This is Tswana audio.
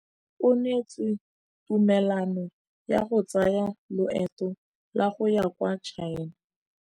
O neetswe tumalanô ya go tsaya loetô la go ya kwa China.